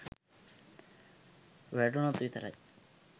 වැටුණොත් විතරයි.